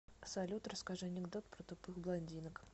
салют расскажи анекдот про тупых блондинок